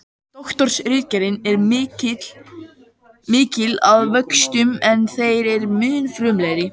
Doktorsritgerðin er ekki mikil að vöxtum en þeim mun frumlegri.